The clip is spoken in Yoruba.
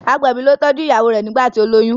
agbẹbi ló tọjú ìyàwó rẹ nigbati o loyún.